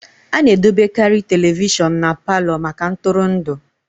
A na-edobekarị telivishọn na Palọ maka ntụrụndụ